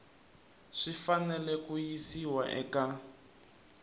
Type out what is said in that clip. swi fanele ku yisiwa eka